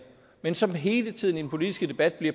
men som hele tiden i den politiske debat